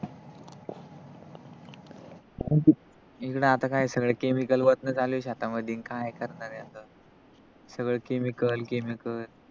इकड आता काय सगळ chemical टाकण चालू आहे शेतामधी काय करणार याच सगळ chemical, chemical